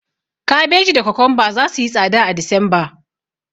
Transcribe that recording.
Kabeji da kokomba zasu yi tsada a Disemba.